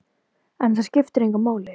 En það skipti engu máli.